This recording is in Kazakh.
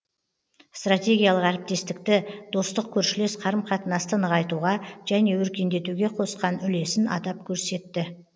стратегиялық әріптестікті достық көршілес қарым қатынасты нығайтуға және өркендетуге қосқан үлесін атап көрсетті